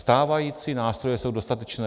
Stávající nástroje jsou dostatečné.